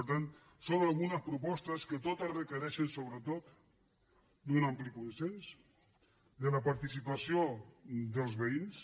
per tant són algunes propostes que totes requereixen sobretot un ampli consens la participació dels veïns